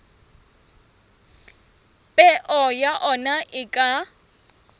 peo ya ona e ka